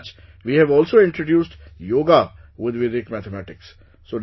As such, we have also introduced Yoga with Vedic Mathematics